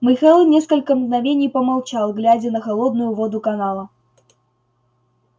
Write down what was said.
михаил несколько мгновений помолчал глядя на холодную воду канала